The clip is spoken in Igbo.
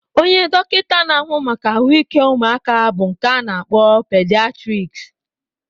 Onye dọkịta na-ahụ maka ahụike ụmụaka bụ nke a na-akpọ pidiatriks